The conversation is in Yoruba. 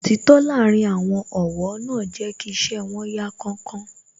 Òtítọ́ láàárín àwọn ọ̀wọ́ náà jẹ́ kí iṣẹ́ wón yá kánkán